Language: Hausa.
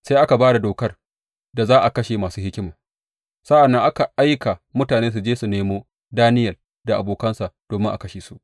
Sai aka ba da dokar da za a kashe masu hikima, sa’an nan aka aika mutane su je su nemo Daniyel da abokansa domin a kashe su.